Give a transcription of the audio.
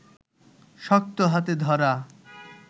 শক্ত হাতে ধরা